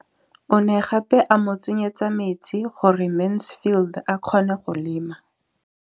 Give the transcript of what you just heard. O ne gape a mo tsenyetsa metsi gore Mansfield a kgone go lema.